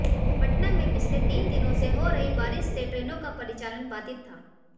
पटना में पिछले तीन दिनों से हो रही बारिश से ट्रेनों का परिचालन बाधित था